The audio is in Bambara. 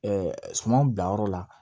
sumanw bila yɔrɔ la